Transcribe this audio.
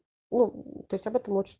ну то есть об этом лучше